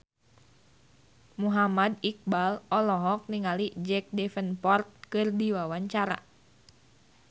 Muhammad Iqbal olohok ningali Jack Davenport keur diwawancara